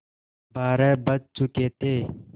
बारह बज चुके थे